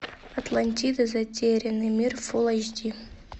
атлантида затерянный мир фулл эйч ди